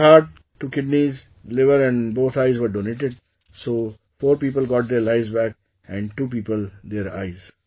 Her heart, two kidneys, liver and both eyes were donated, so four people got their lives back and two people their eyes